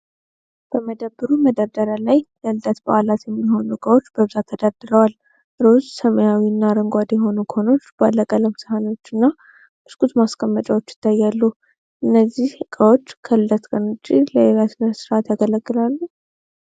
በመደብሩ መደርደሪያዎች ላይ ለልደት በዓላት የሚሆኑ ዕቃዎች በብዛት ተደርድረዋል። ሮዝ፣ ሰማያዊና አረንጓዴ የሆኑ ኮኖች፣ ባለቀለም ሳህኖችና ብስኩት ማስቀመጫዎች ይታያሉ። እነዚህ ዕቃዎች ከልደት ቀን ውጪ ለሌላ ሥነ ሥርዓት ያገለግላሉ?